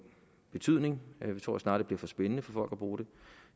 betydning vi tror snarere det bliver for spændende for folk at bruge det